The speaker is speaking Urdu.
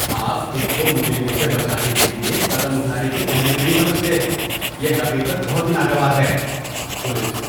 آپ خود کو مجرموں سے بچانے کے لیے قدم اٹھانے کی اہمیت نہیں سمجھتے، یہ حقیقت بہت ہی ناگوار ہے۔ (پولیس)